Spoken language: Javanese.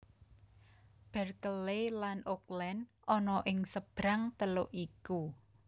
Berkeley lan Oakland ana ing sebrang teluk iku